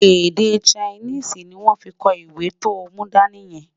Èdè Chinese ní wón fí kò ìwé tó mú dání yen